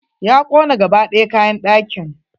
Ya kona gaba ɗaya kayan ɗakin.